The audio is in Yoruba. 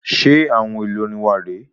Ṣe àwọn èlò orin wà re é